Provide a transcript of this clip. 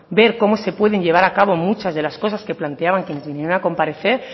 ver cómo se pueden llevar a cabo muchas de las cosas que planteaban quienes vinieron a comparecer